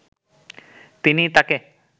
তিনি তাকে